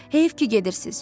Heyif ki gedirsiz.